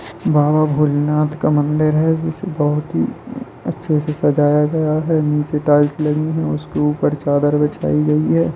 बाबा भोलेनाथ का मंदिर है जिसे बहुत ही उम अच्छे से सजाया गया है नीचे टाइल्स लगी है उसके ऊपर चादर बिछाई गयी है।